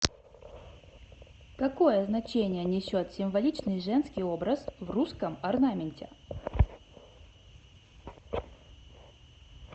какое значение несет символичный женский образ в русском орнаменте